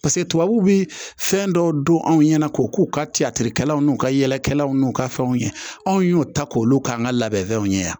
Paseke tubabuw bɛ fɛn dɔw dun anw ɲɛna k'o k'u ka cikɛlaw n'u ka yɛlɛkɛlaw n'u ka fɛnw ye anw y'o ta k'olu k'an ka labɛnw ye yan